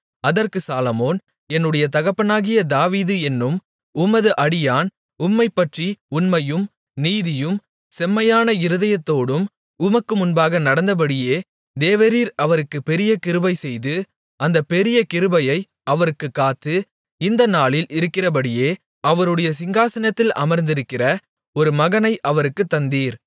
அதற்கு சாலொமோன் என்னுடைய தகப்பனாகிய தாவீது என்னும் உமது அடியான் உம்மைப்பற்றி உண்மையும் நீதியும் செம்மையான இருதயத்தோடும் உமக்கு முன்பாக நடந்தபடியே தேவரீர் அவருக்குப் பெரிய கிருபைசெய்து அந்தப் பெரிய கிருபையை அவருக்குக் காத்து இந்த நாளில் இருக்கிறபடியே அவருடைய சிங்காசனத்தில் அமர்ந்திருக்கிற ஒரு மகனை அவருக்குத் தந்தீர்